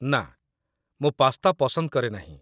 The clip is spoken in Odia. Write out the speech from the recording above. ନା, ମୁଁ ପାସ୍ତା ପସନ୍ଦ କରେ ନାହିଁ।